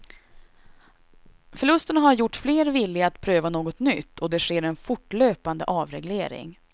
Förlusterna har gjort fler villiga att pröva något nytt och det sker en fortlöpande avreglering.